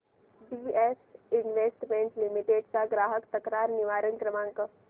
BF investment limited चा ग्राहक तक्रार निवारण क्रमांक